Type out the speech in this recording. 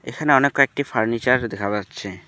এখানে অনেক কয়েকটি ফার্নিচার দেখা পাচ্ছে।